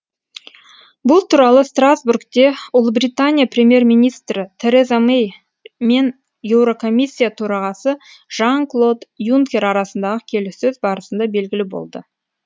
бұл туралы страстбургте ұлыбритания премьер министрі тереза мэй мен еурокомиссия төрағасы жан клод юнкер арасындағы келіссөз барысында белгілі болды